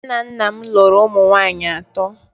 Nna nna m lụrụ ụmụ nwanyị atọ